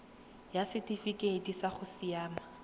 ya setifikeite sa go siamela